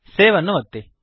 save ಅನ್ನು ಒತ್ತಿ